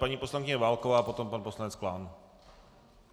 Paní poslankyně Válková a potom pan poslanec Klán.